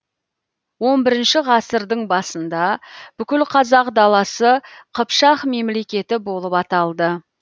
он бірінші ғасырдың басында бүкіл қазақ даласы қыпшақ мемлекеті болып аталды